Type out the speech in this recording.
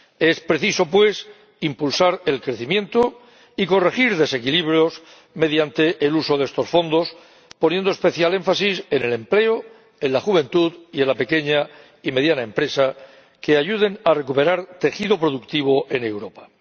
Es preciso, pues, impulsar el crecimiento y corregir desequilibrios mediante el uso de estos fondos, poniendo especial énfasis en el empleo, en la juventud y en la pequeña y mediana empresa, que ayudarán a recuperar tejido productivo en Europa.